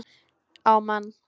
Á mann.